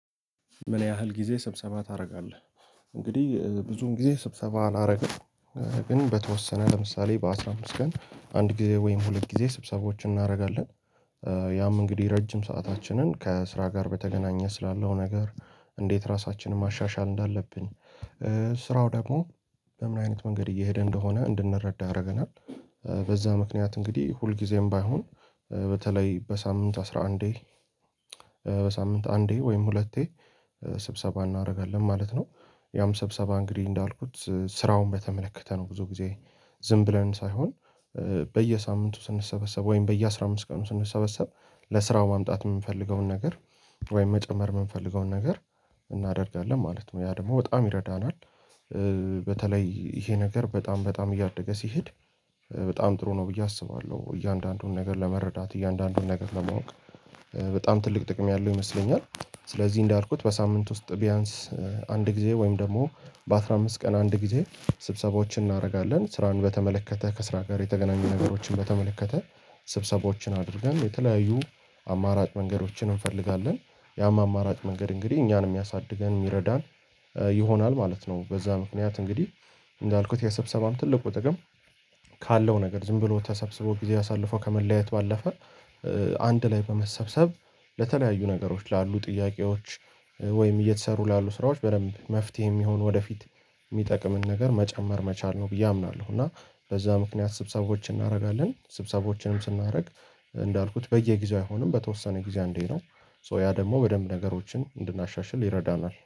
ምን ያህል ጊዜ ስብሰባ ታደርጋለህ? እንግዲህ ብዙም ጊዜ ስብሰባ አላደረገም ግን በተወሰነ ለምሳሌ በአሥራ አምስት ቀን አንድ ጊዜ ወይም ሁለት ጊዜ ስብሰቦችን እናደርጋለን ያም እንግዲህ ረጅም ሰአታችንን ከስራ ጋር በተገናኘ ስላለው ነገር እንዴት ራሳችንን ማሻሻል እንዳለብን ስራው ደግሞ በምን አይነት መንገድ እየሄደ እንደሆነ እንድንረዳ አደረገናል በዛ ምክንያት እንግዲህ ሁልጊዜም ባይሆን በተለይ በሳምንት አስራ አንዴ በሳምንት አንዴ ወይም ሁለቴ ስብሰባ እናደርጋለን ማለት ነው፤ ያም ስብሰባ እንግዲህ እንዳልኩት ስራውን በተመለከተ ነው ብዙ ጊዜ ዝም ብለን ሳይሆን በየሳምንቱ ስንሰበሰብ ወይም በየአሥራ አምስት ቀኑ ስንሰበሰብ ለስራው ማምጣት የምንፈልገውን ነገር ወይም መጨመር የምንፈልገውን ነገር እናደርጋለን ማለት ነው ያ ደግሞ በጣም ይረዳናል በተለይ ይሄ ነገር በጣም በጣም እያደገ ሲሄድ በጣም ጥሩ ነው ብዬ አስባለሁ እያንዳንዱን ነገር ለመረዳት እያንዳንዱን ነገር ለማወቅ በጣም ትልቅ ጥቅም ያለው ይመስለኛል ስለዚህ እንዳልኩት በሳምንት ውስጥ ቢያንስ አንድ ጊዜ ወይም ደግሞ በአሥራ አምስት ቀን አንድ ጊዜ ስብሰባዎችን እናደርጋለን ስራን በተመለከተ ከስራ ጋር የተገናኙ ነገሮችን በተመለከተ ስብሰቦችን አድርገን የተለያዩ አማራጭ መንገዶችን እንፈልጋለን ያም አማራጭ መንገድ እንግዲህ እኛን የሚያሳድገን የሚረዳን ይሆናል ማለት ነው በዛ ምክንያት እንግዲህ እንዳልኩት የሰብሰባም ትልቁ ጥቅም ካለው ነገር ዝም ብሎ ተሰብስቦ ጊዜ አሳልፎ ከመለያየት ባለፈ አንድ ላይ በመሰብሰብ ለተለያዩ ነገሮች ላሉ ጥያቄዎች ወይም እየተሰሩ ላሉ ስራዎች በደንብ መፍትሄ የሚሆን ወደፊት የሚጠቅምን ነገር መጨመር መቻል ነው ብዬ አምናለሁ እና በዛ ምክንያት ስብሰቦችን እናደርጋለን ስብሰቦችንም ስናደርግ እንዳልኩት በየጊዜው አይሆንም በተወሰነ ጊዜ አንዴ ነው ሶ ያ ደግሞ በደንብ ነገሮችን እንድናሻሽል ይረዳናል።